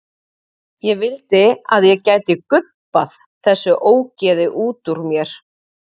Ég vildi að ég gæti gubbað þessu ógeði út úr mér.